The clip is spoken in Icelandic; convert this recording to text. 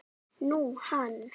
Nú, hann.